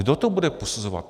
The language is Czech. Kdo to bude posuzovat?